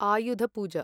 Ayudha Puja